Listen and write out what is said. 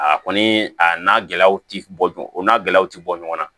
A kɔni a n'a gɛlɛyaw ti bɔ o n'a gɛlɛyaw ti bɔ ɲɔgɔn na